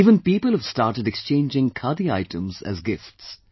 Even people have started exchanging Khadi items as gifts